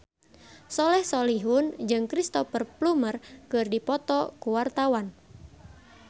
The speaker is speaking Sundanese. Soleh Solihun jeung Cristhoper Plumer keur dipoto ku wartawan